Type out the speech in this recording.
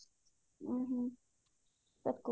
ହୁଁ ହୁଁ okey